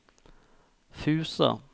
Fusa